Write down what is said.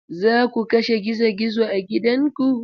Za ku kashe gizo-gizo a gidanku?